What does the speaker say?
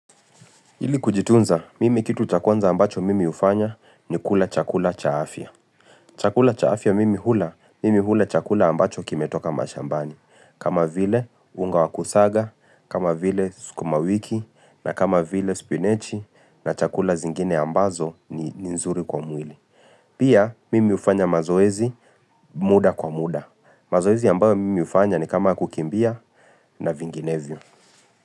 Ili kujitunza, mimi kitu cha kwanza ambacho mimi hufanya ni kula chakula cha afya Chakula cha afya mimi hula, mimi hula chakula ambacho kimetoka mashambani. Kama vile, unga wakusaga, kama vile, skumawiki, na kama vile, spinach, na chakula zingine ambazo ni nzuri kwa mwili. Pia, mimi ufanya mazoezi muda kwa muda. Mazoezi ambayo mimi hufanya nikama ya kukimbia na vinginevyo.